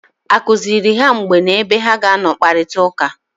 A kụziri ha mgbe na ebe ha ga-akparịta ụka?